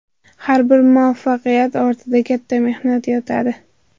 Har bir muvaffaqiyat ortida katta mehnat yotadi.